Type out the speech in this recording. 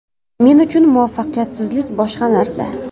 Men uchun muvaffaqiyatsizlik boshqa narsa.